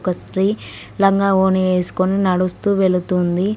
ఒక స్త్రీ లంగా వోని వేసుకొని నడుస్తూ వెళుతుంది.